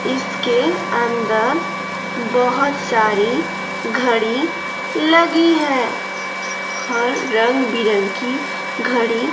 इसके अंदर बहुत सारी घड़ी लगी है और रंग बिरंगी घड़ी--